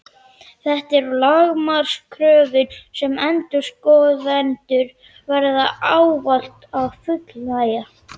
Þetta eru lágmarkskröfur sem endurskoðendur verða ávallt að fullnægja.